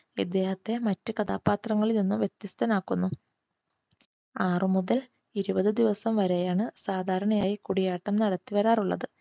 ഇദ്ദേഹത്തെ മറ്റു കഥാപാത്രങ്ങളിൽ നിന്ന് വ്യത്യസ്തനാക്കുന്നു. ആറു മുതൽ ഇരുപത് ദിവസം വരെയാണ് സാധാരണയായി കൂടിയാട്ടം നടത്തി വരാറുള്ളത്.